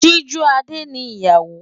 Sijúadé ni ìyàwó.